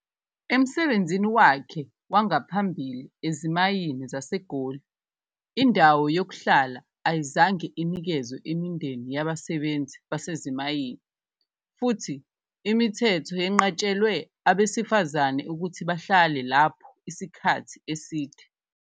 Emsebenzini wakhe wangaphambili ezimayini zaseGoli, indawo yokuhlala ayizange inikezwe imindeni yabasebenzi basezimayini futhi imithetho yenqatshelwe abesifazane ukuthi bahlale lapho isikhathi eside.